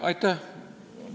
Aitäh!